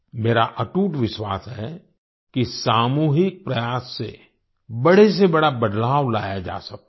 मेरा अटूट विश्वास है कि सामूहिक प्रयास से बड़े से बड़ा बदलाव लाया जा सकता है